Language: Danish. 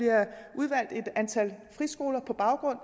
er et antal friskoler på baggrund